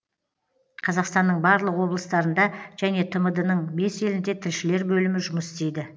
қазақстанның барлық облыстарында және тмд ның бес елінде тілшілер бөлімі жұмыс істейді